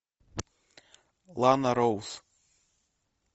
лана роуз